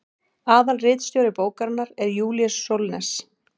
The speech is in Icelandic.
aðalritstjóri bókarinnar er júlíus sólnes